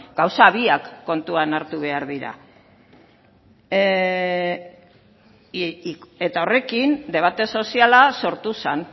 gauza biak kontuan hartu behar dira eta horrekin debate soziala sortu zen